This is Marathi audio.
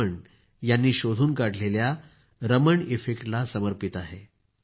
रमण यांनी शोधून काढलेल्या रमण इफेक्टला समर्पित आहे